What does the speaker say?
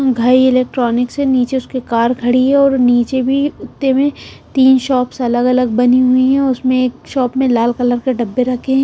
Ghai electronics है नीचे उसके कार खड़ी है और नीचे भी उत्ते में तीन शॉप्स अलग-अलग बनी हुई है उसमें एक शॉप में लाल कलर के डब्बे रखें हैं।